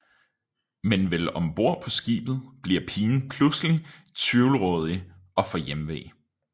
Men vel om bord på skibet bliver pigen pludselig tvivlrådighed og får hjemve